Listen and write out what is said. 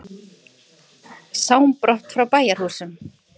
Sám brott frá bæjarhúsum.